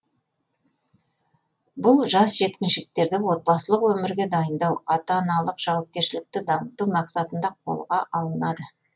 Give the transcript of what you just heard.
бұл жас жеткіншектерді отбасылық өмірге дайындау ата аналық жауапкершілікті дамыту мақсатында қолға алынады